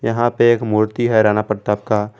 यहां पे एक मूर्ति है राणा प्रताप का।